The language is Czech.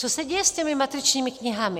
Co se děje s těmi matričními knihami?